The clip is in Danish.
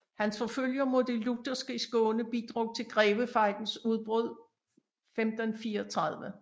Hans forfølgelser mod de lutherske i Skåne bidrog til Grevefejdens udbrud 1534